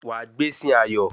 Wa gbésìn ayọ̀